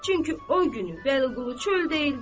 Çünki o günü Vəliqulu çöldə idi.